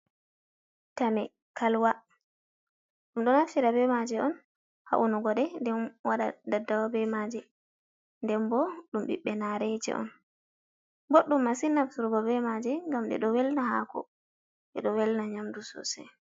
Tame kalwa, ɗum ɗo naftira bemaje on haa unugo ɗe nden waɗa daddawa be maaje. Nden bo ɗum ɓiɓɓe nareeje on. Boɗɗum masin nafturgo be maaje ngam ɗe ɗo welna haako, ɗe ɗo welna nyamdu sosai.